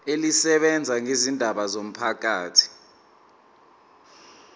elisebenza ngezindaba zomphakathi